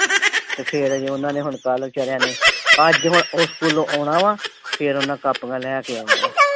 ਤੇ ਫਿਰ ਅਜੇ ਉਨ੍ਹਾਂ ਨੇ ਕੱਲ ਨੂੰ ਵਿਚਾਰਿਆਂ ਨੇ ਅੱਜ ਹੁਣ ਸਕੂਲੋਂ ਆਉਣਾ ਵਾਂ ਫੇਰ ਉਨ੍ਹਾਂ ਕਾਪੀਆਂ ਲੈ ਕੇ ਆਉਣਾ ਵਾ।